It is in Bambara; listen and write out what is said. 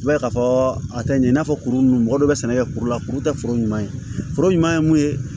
I b'a ye k'a fɔ a tɛ ɲɛ i n'a fɔ kuru ninnu mɔgɔ dɔ bɛ sɛnɛ kɛ kuru la kuru tɛ foro ɲuman ye foro ɲuman ye mun ye